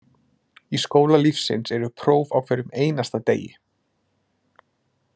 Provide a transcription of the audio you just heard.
Í skóla lífsins eru próf á hverjum einasta degi.